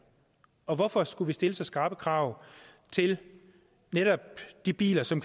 og hvorfor skulle vi stille så skrappe krav til netop de biler som